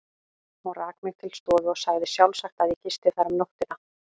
Hún rak mig til stofu og sagði sjálfsagt, að ég gisti þar um nóttina.